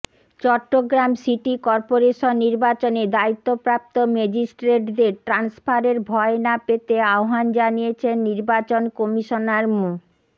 Chittagong city corporation নির্বাচনে দায়িত্বপ্রাপ্ত ম্যাজিস্ট্রেটদের ট্রান্সফারের ভয় না পেতে আহ্বান জানিয়েছেন নির্বাচন কমিশনার মো